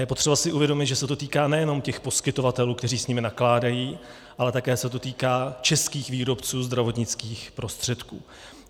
Je potřeba si uvědomit, že se to týká nejenom těch poskytovatelů, kteří s nimi nakládají, ale také se to týká českých výrobců zdravotnických prostředků.